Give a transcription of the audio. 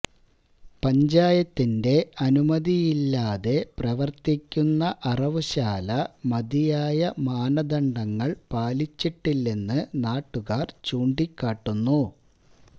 പഞ്ചായത്തിന്റെ അനുമതിയില്ലാതെ പ്രവര്ത്തിക്കുന്ന അറവുശാല മതിയായ മാനദണ്ഡങ്ങള് പാലിച്ചിട്ടില്ലെന്ന് നാട്ടുകാര് ചൂണ്ടിക്കാട്ടുന്നു